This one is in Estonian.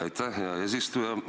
Aitäh, hea eesistuja!